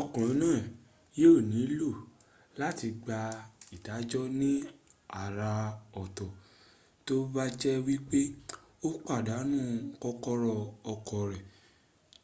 ọkùnrin náà yíò nílò láti gba ìdájọ́ ní àràọ̀tọ̀ tó bá jẹ́ wípé ó pàdánù kọ́kọ́rọ́ ọkọ̀ rẹ̀